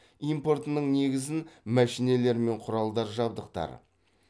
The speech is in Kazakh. импортының негізін мәшинелер мен құралдар жабдықтар